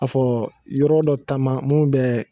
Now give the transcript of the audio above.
A fɔ yɔrɔ dɔ taama minnu bɛ